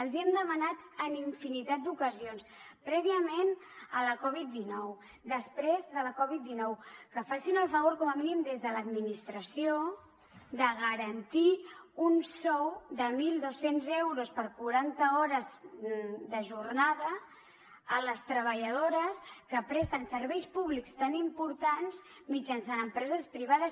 els hem demanat en infinitat d’ocasions prèviament a la covid dinou després de la covid dinou que facin el favor com a mínim des de l’administració de garantir un sou de mil dos cents euros per quaranta hores de jornada a les treballadores que presten serveis públics tan importants mitjançant empreses privades